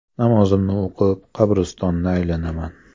Namozimni o‘qib, qabristonni aylanaman.